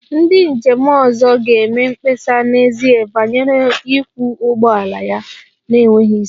Ndị njem ọzọ ga-eme mkpesa n'ezie banyere ịkwọ ụgbọala ya na-enweghị isi